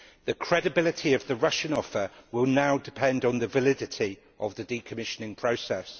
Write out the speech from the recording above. The credibility of the Russian offer will now depend on the validity of the decommissioning process.